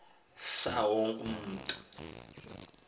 saa wonke umntu